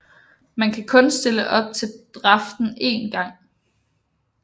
Man kan kun stille op til draften en gang